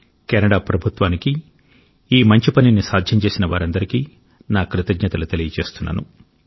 Canada ప్రభుత్వానికి ఈ మంచి పనిని సాధ్యం చేసిన వారందరికీ నా కృతజ్ఞతలు తెలియజేస్తున్నాను